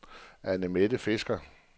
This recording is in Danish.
Anne-Mette Fisker